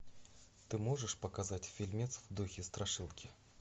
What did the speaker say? ты можешь показать фильмец в духе страшилки